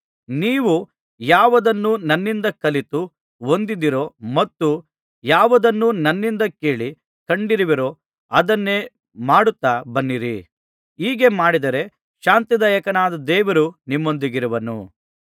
ನೀವು ಯಾವುದನ್ನು ನನ್ನಿಂದ ಕಲಿತು ಹೊಂದಿದ್ದೀರೋ ಮತ್ತು ಯಾವುದನ್ನು ನನ್ನಲ್ಲಿ ಕೇಳಿ ಕಂಡಿರುವಿರೋ ಅದನ್ನೇ ಮಾಡುತ್ತಾ ಬನ್ನಿರಿ ಹೀಗೆ ಮಾಡಿದರೆ ಶಾಂತಿದಾಯಕನಾದ ದೇವರು ನಿಮ್ಮೊಂದಿಗಿರುವನು